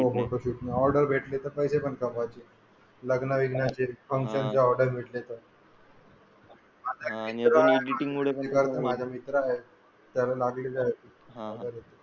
हो ऑर्डर भेटली तर पैसे पण कमवायचे लग्न बिग्न असतील अजून कोणाचे ऑर्डर भेटली तर. हा आणि माझा मित्र आहे त्याला .